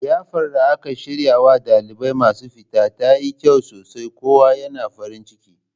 Liyafar da aka shiryarwa ɗalibai masu fita tayi kyau sosai kowa yana farin ciki